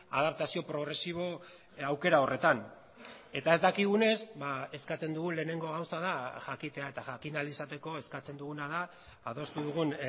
adaptazio progresibo aukera horretan eta ez dakigunez eskatzen dugun lehenengo gauza da jakitea eta jakin ahal izateko eskatzen duguna da adostu dugun